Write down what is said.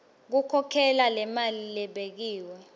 khokhela lemali lebekiwe